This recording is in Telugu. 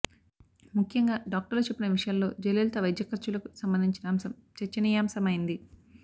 ముఖ్యంగా డాక్టర్లు చెప్పిన విషయాల్లో జయలలిత వైద్య ఖర్చులకు సంబంధించిన అంశం చర్చనీయాంశమైంది